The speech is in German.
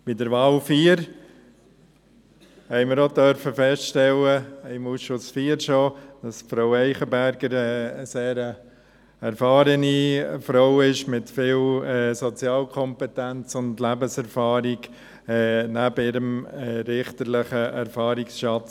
Bei der Wahl 4 durften wir schon im Ausschuss IV feststellen, dass Frau Eichenberger eine sehr erfahrene Frau ist, mit viel Sozialkompetenz und Lebenserfahrung neben ihrem richterlichen Erfahrungsschatz.